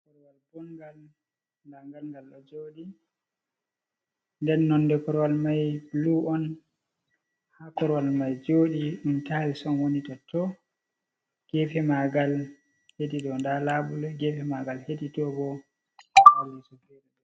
Korowal bodngal nda ngal ngalɗon joɗi, nden nonde korowal mai bulu on, ha korowal mai joɗi ɗum tayis on woni totton, gefe maagal hedi ɗo nda labuleji gefe maagal hedi toh boh ...